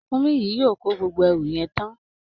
Ràkúnmí yìí yóò kó gbogbo ẹrù yẹn tán